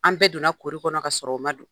An bɛɛ donna korI kɔnɔ k'a sɔrɔ o ma do